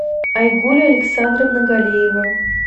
айгуль александровна галиева